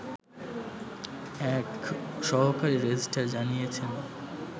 এক সহকারী রেজিস্ট্রার জানিয়েছেন